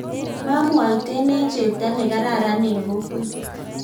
mwamwaiten eng chepto nekararan eng kokwet